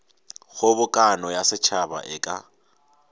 kgobokano ya setšhaba e ka